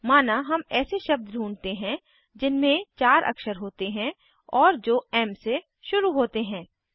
माना हम ऐसे शब्द ढूँढते हैं जिनमें चार अक्षर होते हैं और जो एम से शुरू होते हैं